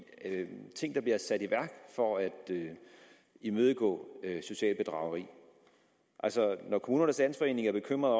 ting der bliver sat i værk for at imødegå socialt bedrageri når kommunernes landsforening er bekymret